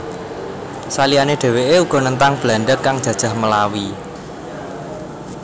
Saliyane dheweke uga nentang Belanda kang jajah Melawi